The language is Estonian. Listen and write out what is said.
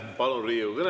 Hea ettekandja, teie aeg!